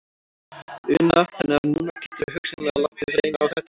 Una: Þannig að núna geturðu hugsanlega látið reyna á þetta aftur?